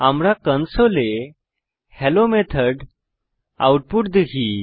আমরা কনসোলে hello method output দেখি